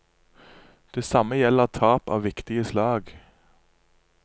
Det samme gjelder tap av viktige slag.